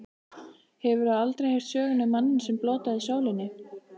Hefurðu aldrei heyrt söguna um manninn, sem blótaði sólinni.